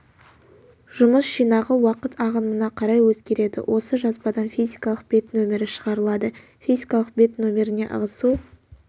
жұмыс жинағы уақыт ағымына қарай өзгереді осы жазбадан физикалық бет нөмірі шығарылады физикалық бет нөміріне ығысу